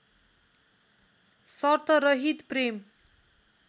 सर्त रहित प्रेम